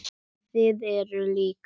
Þið eruð lík.